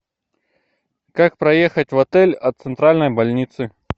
как проехать в отель от центральной больницы